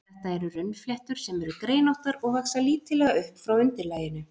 Þetta eru runnfléttur, sem eru greinóttar og vaxa lítillega upp frá undirlaginu.